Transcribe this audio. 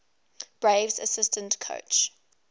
braves assistant coach